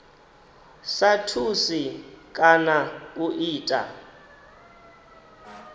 sa thusi kana u ita